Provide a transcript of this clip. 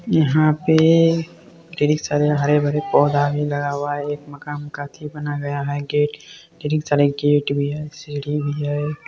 यहाँ पे कई सारे हरे-भरे पौधा भी लगा हुआ है एक मकान का अथी बना गया है गेट गेट भी है सीढ़ी भी है।